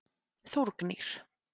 Þórgnýr